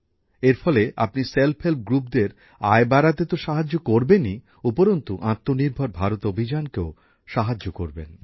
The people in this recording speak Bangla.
এর মাধ্যমে আপনি স্বনির্ভর গোষ্ঠীদের আয় বাড়াতে তো সাহায্য করবেনই উপরন্তু আত্মনির্ভর ভারত অভিযানকেও সাহায্য করবেন